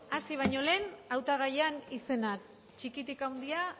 hasi baino lehen hautagaien izenak txikitik handira